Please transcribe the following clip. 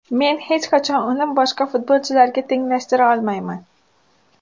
Men hech qachon uni boshqa futbolchilarga tenglashtira olmayman.